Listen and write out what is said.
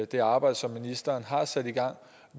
det arbejde som ministeren har sat i gang